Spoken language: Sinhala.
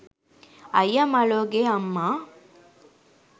අයිය මලෝ ගේ අම්මා